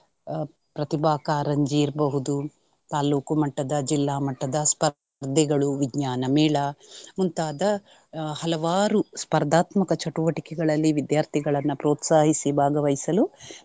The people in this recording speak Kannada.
ಆಹ್ ಪ್ರತಿಭಾ ಕಾರಂಜಿ ಇರ್ಬಹುದು, ತಾಲೂಕು ಮಟ್ಟದ ಜಿಲ್ಲಾ ಮಟ್ಟದ ಸ್ಪರ್ಧೆಗಳು, ವಿಜ್ಞಾನಮೇಳ ಮುಂತಾದ ಹಲವಾರು ಸ್ಪರ್ಧಾತ್ಮಕ ಚಟುವಟಿಕೆಗಳಲ್ಲಿ ವಿದ್ಯಾರ್ಥಿಗಳನ್ನ ಪ್ರೋತ್ಸಾಹಿಸಿ ಭಾಗವಹಿಸಲು.